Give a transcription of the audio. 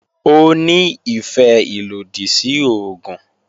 Ó ní ìfẹ́ ìlòdì sí oògùn